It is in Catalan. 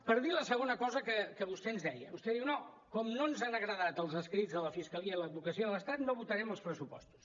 per dir la segona cosa que vostè ens deia vostè diu no com que no ens han agradat els escrits de la fiscalia i l’advocacia de l’estat no votarem els pressupostos